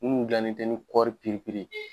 Munnu dilan ne tɛ ni kɔri piripiri ye.